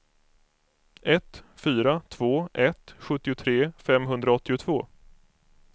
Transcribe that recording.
ett fyra två ett sjuttiotre femhundraåttiotvå